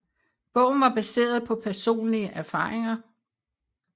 Bogen var baseret på personlige erfaringer